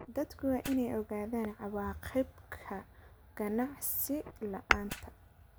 Dadku waa inay ogaadaan cawaaqibka aqoonsi la'aanta.